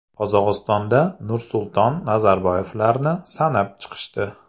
Qozog‘istonda Nursulton Nazarboyevlarni sanab chiqishdi.